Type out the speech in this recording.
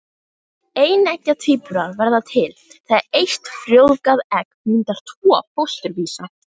Eineggja tvíburar verða til þegar eitt frjóvgað egg myndar tvo fósturvísa.